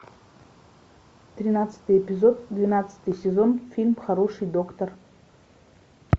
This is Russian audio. тринадцатый эпизод двенадцатый сезон фильм хороший доктор